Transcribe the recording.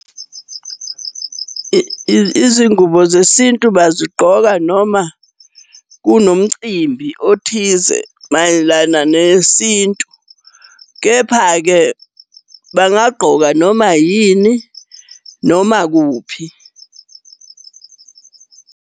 Izingubo zesintu bazigqoka noma kunomcimbi othize mayelana nesintu, kepha-ke bangagqoka noma yini, noma kuphi.